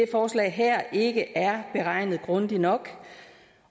forslag her ikke er beregnet grundigt nok